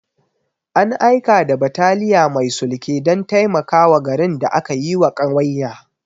An aika da bataliya mai sulke don taimakawa garin da aka yiwa ƙawanya.